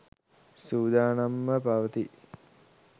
සූදානම්ව පවතී